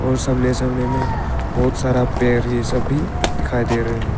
और सामने सामने मे बहोत सारा पेड़ ये सब भी दिखाई दे रहे हैं।